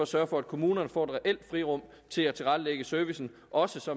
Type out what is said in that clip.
sørge for at kommunerne får et reelt frirum til at tilrettelægge servicen også